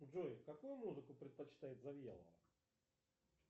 джой какую музыку предпочитает завьялова